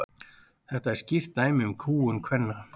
þetta er skýrt dæmi um kúgun kvenna